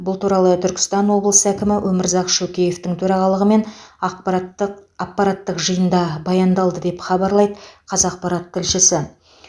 бұл туралы түркістан облысы әкімі өмірзақ шөкеевтің төрағалығымен ақпараттық аппараттық жиында баяндалды деп хабарлайды қазақпарат тілшісі